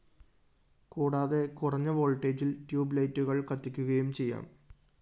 കൂടാതെ കുറഞ്ഞ വോള്‍ട്ടേജില്‍ ട്യൂബ്‌ ലൈറ്റുകള്‍ കത്തിക്കുകയും ചെയ്യാം